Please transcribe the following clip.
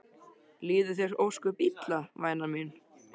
Líður þér ósköp illa væna mín?